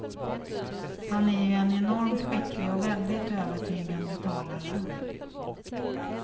Han är ju en enormt skicklig och väldigt övertygande talare.